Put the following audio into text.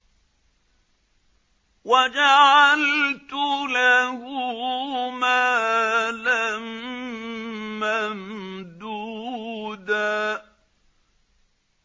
وَجَعَلْتُ لَهُ مَالًا مَّمْدُودًا